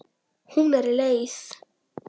Hún er leið.